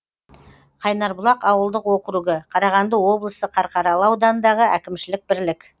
қайнарбұлақ ауылдық округі қарағанды облысы қарқаралы ауданындағы әкімшілік бірлік